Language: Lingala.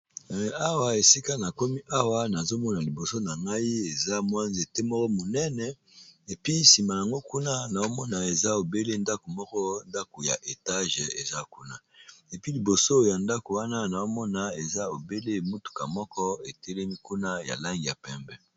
Awa esika na komi awa nazo mona liboso na ngai eza mwa nzete moko monene. Epui nsima yango kuna nao mona eza obele ndako moko ndako ya etage eza kuna. Epui liboso ya ndako wana nao mona eza obele mutuka moko etelemi kuna ya lange ya pembe.